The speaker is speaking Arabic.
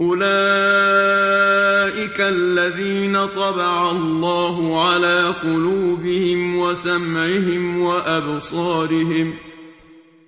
أُولَٰئِكَ الَّذِينَ طَبَعَ اللَّهُ عَلَىٰ قُلُوبِهِمْ وَسَمْعِهِمْ وَأَبْصَارِهِمْ ۖ